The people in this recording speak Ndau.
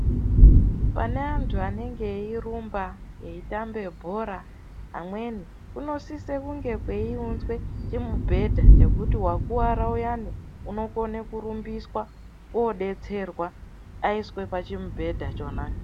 Pane antu anenge eirumba, eitambe bhora amweni. Kunosise kunge kweiunzwe chimubhedha chekuti vakuvara uyani unokone kurumbiswa kobetserwa aiswe achimubhedha chona.